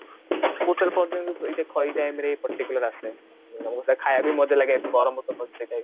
ବହୁତସାରା ଦେଖା ଏଇ time ରେ Particular ଆସେ ତମକୁ ଖାଇବାକୁ ବି ମଜା ଲାଗେ ଗରମ